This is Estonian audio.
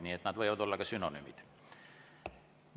Nii et nad võivad olla sünonüümid.